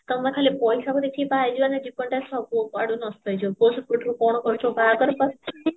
ଆମେ ଖାଲି ପଇସା କୁ ଦେଖିକି ବାହା ହେଇଯିବା ନା ଜୀବନ ଟା ସବୁ କୁଆଡୁ ନଷ୍ଟ ହେଇଯିବ ପୁଅ ସେପଟରୁ କଣ କରିଥିବ ବାହାଘର ପରେ